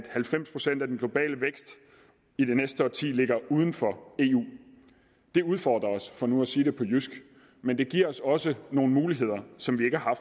halvfems procent af den globale vækst i det næste årti ligger uden for eu det udfordrer os for nu at sige det på jysk men det giver os også nogle muligheder som vi ikke har